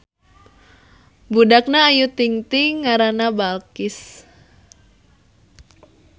Budakna Ayu Ting Ting ngarana Balqis